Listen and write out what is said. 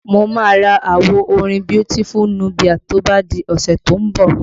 Mo máa ra àwo orin Beautiful Nubia to bá di ọ̀sẹ̀ tó ń bọ̀